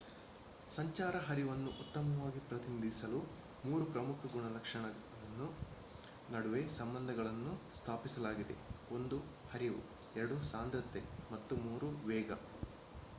ಸಂಚಾರ ಹರಿವನ್ನು ಉತ್ತಮವಾಗಿ ಪ್ರತಿನಿಧಿಸಲು ಮೂರು ಪ್ರಮುಖ ಗುಣಲಕ್ಷಣಗಳ ನಡುವೆ ಸಂಬಂಧಗಳನ್ನು ಸ್ಥಾಪಿಸಲಾಗಿದೆ: 1 ಹರಿವು 2 ಸಾಂದ್ರತೆ ಮತ್ತು 3 ವೇಗ